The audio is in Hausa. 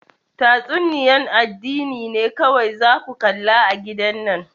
Tatsuniya'n addini ne kowai za ku kalla a'gidan nan.